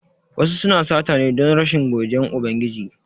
Wasu suna sata ne don rashin godiyan Ubangiji